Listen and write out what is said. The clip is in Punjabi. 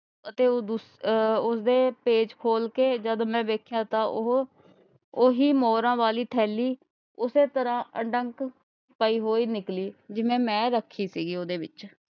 ਅਤੇ ਉਹ ਆਹ ਉਸਦੇ ਪੇਚ ਖੋਲਕੇ ਜਦ ਮੈਂ ਵੇਖਿਆ ਤਾਂ ਉਹ ਉਹੀ ਮੋਹਰਾਂ ਵਾਲੀ ਥੈਲੀ ਉਸੇ ਤਰ੍ਹਾਂ ਅਡੰਕ ਪਾਈ ਹੋਈ ਨਿਕਲੀ ਜਿਵੇਂ ਮੈਂ ਰੱਖੀ ਸੀਗੀ ਉਹਦੇ ਵਿਚ।